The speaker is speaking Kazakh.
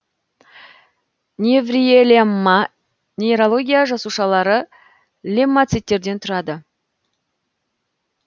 невриелемма нейроглия жасушалары леммоциттерден тұрады